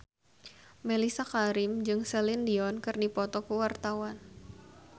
Mellisa Karim jeung Celine Dion keur dipoto ku wartawan